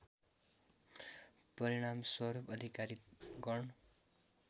परिणामस्वरूप अधिकारी गण